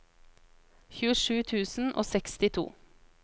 tjuesju tusen og sekstito